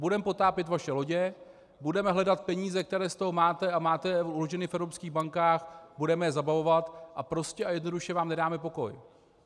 Budeme potápět vaše lodě, budeme hledat peníze, které z toho máte a máte je uloženy v evropských bankách, budeme je zabavovat a prostě a jednoduše vám nedáme pokoj.